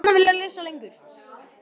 HANN HEFÐI GJARNAN VILJAÐ LESA LENGUR Í